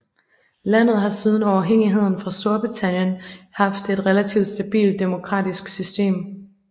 Landet har siden uafhængigheden fra Storbritannien haft et relativt stabilt demokratisk system